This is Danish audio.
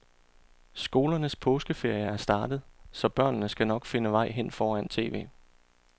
Skolernes påskeferie er startet, så børnene skal nok finde vej hen foran tv.